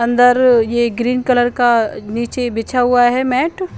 अंदर ये green colour का य नीचे बिछा हुआ हे ये मेट --